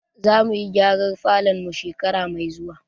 Za mu yi gyaran falon mu shekara mai zuwa.